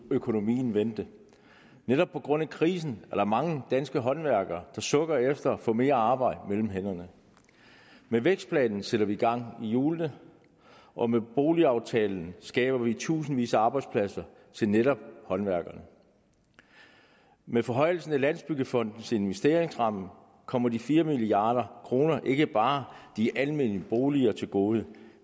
økonomien vendte netop på grund af krisen er der mange danske håndværkere der sukker efter at få mere arbejde mellem hænderne med vækstplanen sætter vi gang i hjulene og med boligaftalen skaber vi tusindvis af arbejdspladser til netop håndværkerne med forhøjelsen af landsbyggefondens investeringsramme kommer de fire milliard kroner ikke bare de almene boliger til gode